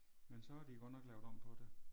Men så har de godt nok lavet om på det